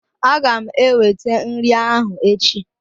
Aga m ewete nri ahụ echi